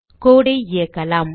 code ஐ இயக்கலாம்